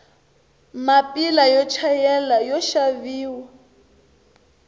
mapila yo chayela yoxaviwa